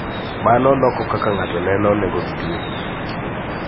Mano loko kaka ng�ato neno nengogi giwegi.